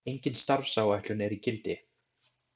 Engin starfsáætlun er í gildi.